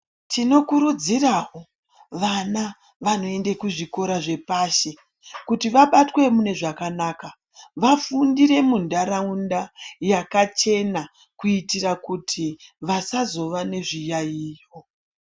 Tinokurudzirawo vana vanoende kuzvikora zvepashi kuti vabatwe mune zvakanaka, vafundire muntaraunda yakachena kuitira kuti wasazova nezviyaiyo.